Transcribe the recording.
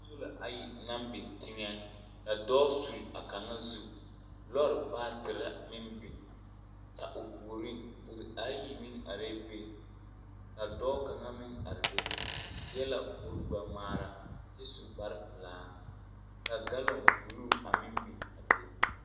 Poolo ayi naŋ biŋ teŋɛ, ka dɔɔ sul a kaŋa zu. Lɔɔr baatere meŋ biŋ, kyɛ o puoriŋ deri ayi meŋ arɛɛ be, ka dɔɔ kaŋa meŋ are be, o seɛ la kuri-gbɛ-ŋmaara, kyɛ su kparepelaa, ka galɔŋ buluu meŋ biŋ a be.